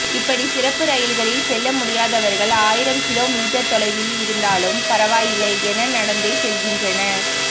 இப்படி சிறப்பு ரயில்களில் செல்ல முடியாதவர்கள் ஆயிரம் கிலோ மீட்டர் தொலைவில் இருந்தாலும் பரவாயில்லை என நடந்தே செல்கின்றனர்